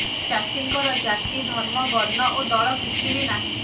ଚାଷୀଙ୍କର ଜାତି ଧର୍ମ ବର୍ଣ୍ଣ ଓ ଦଳ କିଛି ବି ନାହିଁ